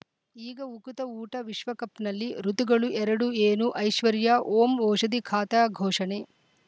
ಈಗ ಉಕುತ ಊಟ ವಿಶ್ವಕಪ್‌ನಲ್ಲಿ ಋತುಗಳು ಎರಡು ಏನು ಐಶ್ವರ್ಯಾ ಓಂ ಓಷಧಿ ಖಾತ ಘೋಷಣೆ